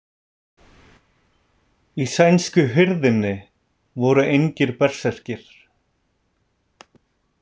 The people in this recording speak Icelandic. Í sænsku hirðinni voru engir berserkir.